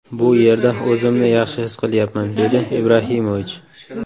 Bu yerda o‘zimni yaxshi his qilyapman”, – dedi Ibrahimovich.